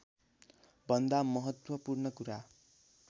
भन्दा महत्त्वपूर्ण कुरा